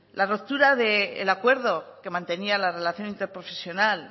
la ruptura del acuerdo que mantenía la relación interprofesional